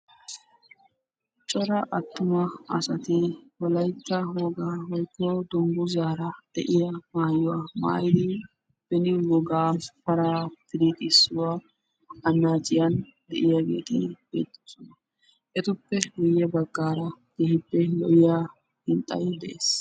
cora atumma asati wolaytta wogaa woykko dungguzara de'iyaa maayuwa maayidi beni wogaa paraa piriixissuwa anaacciyan diyaageeti beetoosona. etuppe guye bagaaara keehippe lo'iya hintsay des